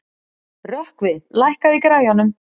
Rökkvi, lækkaðu í græjunum.